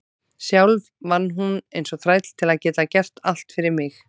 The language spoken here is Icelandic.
Sjálf vann hún eins og þræll til að geta gert allt fyrir mig.